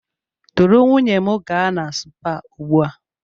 Duru nwunye m gaa na spaa ugbu a!